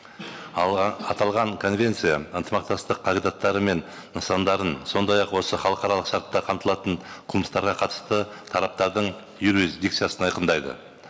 аталған конвенция ынтымақтастық қағидаттары мен нысандарын сондай ақ осы халықаралық шартта қамтылатын қылмыстарға қатысты тараптардың юрисдикциясын айқындайды